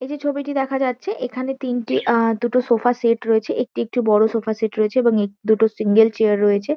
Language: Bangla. এই যে ছবিটি দেখা যাচ্ছে এখানে তিনটি আ দুটো সোফা সেট রয়েছে। একটি একটু বড় সোফা সেট রয়েছে এবং এক দুটো সিঙ্গেল চেয়ার রয়েছে।